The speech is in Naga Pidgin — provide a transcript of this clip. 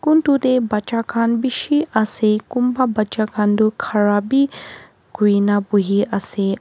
kun tu teh baccha khan bishi ase kunba baccha khan tu khara bhi khoi na bohi ase.